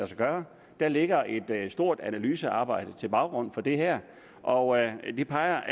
sig gøre der ligger et et stort analysearbejde til baggrund for det her og det peger